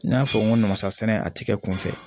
N y'a fɔ n ko namasasɛnɛ a tɛ kɛ kunfɛ